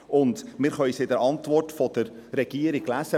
Zudem können wir es in der Antwort der Regierung lesen.